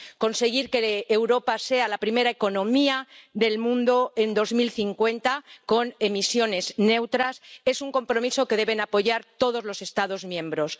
Conseguir que Europa sea la primera economía del mundo en 2050 con emisiones neutras es un compromiso que deben apoyar todos los Estados miembros.